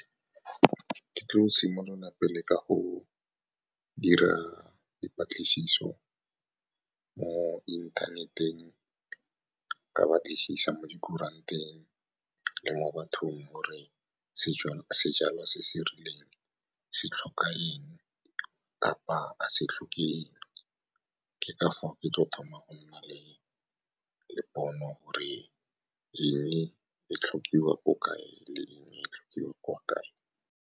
Ke tlo simolola pele ka go dira dipatlisiso mo inthaneteng, ka batlisisa mo dikuranteng le mo bathong gore sejalwa se se rileng se tlhoka eng kapa ga se tlhoke eng. Ke ka fa ke tlo thomang go nna le pono gore eng e tlhokiwa ko kae le eng e tlhokiwa kwa kae.